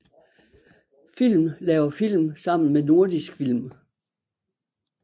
Film laver film sammen med Nordisk Film